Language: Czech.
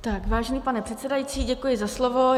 Vážený pane předsedající, děkuji za slovo.